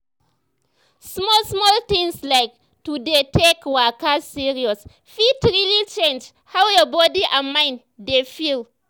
small small things like to dey take waka serious fit really change how your body and mind dey feel.